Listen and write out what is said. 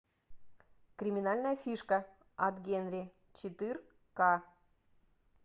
криминальная фишка от генри четыр ка